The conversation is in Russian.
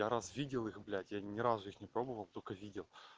раз видел их блять я ни разу не пробовал только видел